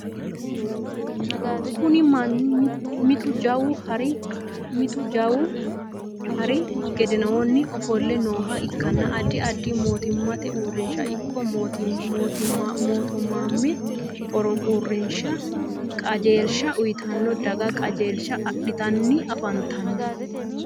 Kunni manni mitu jawu hari gidoonni ofole nooha ikanna addi addi mootimmate uurinsha iko mootimmaamme uurinsha qajeelsha uyitanna daga qajeelsha adhitanni afantano.